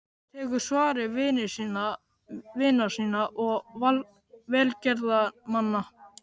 Tekur svari vina sinna og velgjörðamanna.